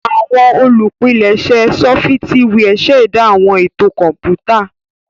Awọn olupilẹṣẹ sọfitiwia ṣẹda awọn eto kọnputa.